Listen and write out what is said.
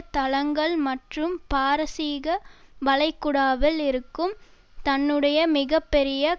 தளங்கள் மற்றும் பாரசீக வளைகுடாவில் இருக்கும் தன்னுடைய மிக பெரிய